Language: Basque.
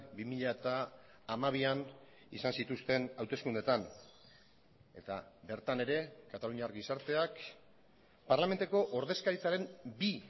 bi mila hamabian izan zituzten hauteskundeetan eta bertan ere kataluniar gizarteak parlamentuko ordezkaritzaren bi